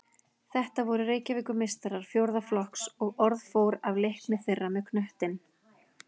Þetta voru Reykjavíkurmeistarar fjórða flokks og orð fór af leikni þeirra með knöttinn.